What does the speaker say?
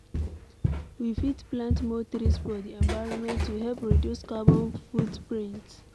We fit plant more trees for di environment to help reduce carbon foot print